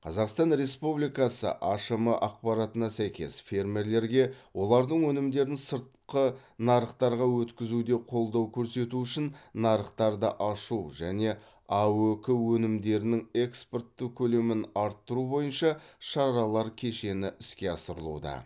қазақстан республикасы ашм ақпаратына сәйкес фермерлерге олардың өнімдерін сыртқы нарықтарға өткізуде қолдау көрсету үшін нарықтарды ашу және аөк өнімдерінің экспорты көлемін арттыру бойынша шаралар кешені іске асырылуда